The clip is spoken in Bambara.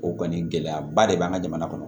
O kɔni gɛlɛyaba de b'an ka jamana kɔnɔ